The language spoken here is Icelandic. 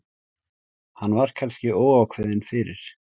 Hann var kannski óákveðinn fyrir.